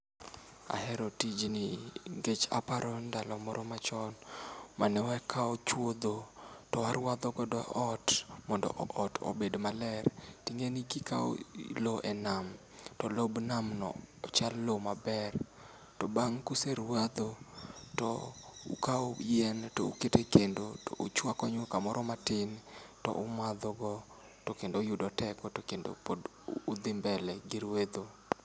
Ahero tijni nikech aparo ndalo moro machon manewakawo chuodho to warwadhogodo ot mondo ot obed maler. Ting'eni kikawo lo e nam to lob nam no ochal lo maber. To bang' kuserwadho, to ukawo yien toukete kendo touchwako nyuka moro matin toumadhogo to kendo uyudo teko to kendo pod udhi mbele gi rwedho.